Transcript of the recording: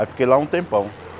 Aí fiquei lá um tempão.